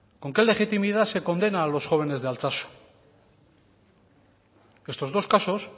con qué legitimidad se condena a los jóvenes de altsatsu estos dos casos